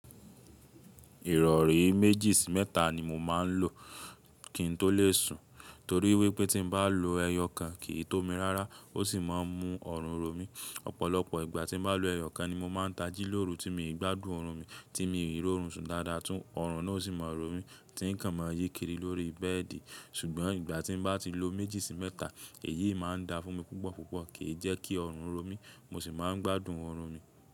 Ìrọ̀rí méjì sí mẹ́ta ni mo máa ń lò kí n tó lè sùn, torí wípé tí n bá lo ẹyọ kan kì í tó mi rárá ó sì máa ń mú ọ̀run ro mí. Ọ̀pọ̀lọpọ̀ ìgbà tí n bá lo ẹyọ kan ni mo máa ń tají lóru tí mi gbádùn ọ̀run mi, tí mi ò rí ọ̀run sùn dáadáa tún ọ̀run náà sì máa rọ̀ mí tí n kàn máa yí kiri lórí bẹ́ẹ̀dì. Ṣùgbọ́n ìgbà tí n bá ti lo méjì sí mẹ́ta èyí máa ń dá fún mi púpọ̀púpọ̀, kì í jẹ́ kí ọ̀run rọ̀ mí, mo sì máa ń gbádùn ọ̀run mi.